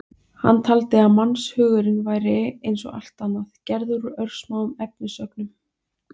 Hann taldi að mannshugurinn væri, eins og allt annað, gerður úr örsmáum efnisögnum.